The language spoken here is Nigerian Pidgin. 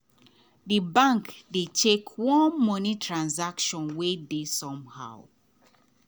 the bank dey check one money transaction wey dey somehow.